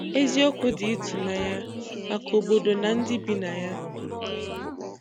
Ézíokwu dị́ ị́tụ̀nányá màkà òbòdò nà ndị́ bi nà yá